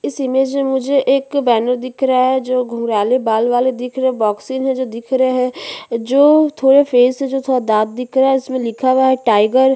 इस इमेज में मुझे एक बैनर दिख रहा है जो घुंगराले बाल वाले दिख रहै है बॉक्सिंग है जो दिख रहै है जो थोड़े फेस से थोड़ा दांत दिख रहा है उस में लिखा हुआ है टाइगर --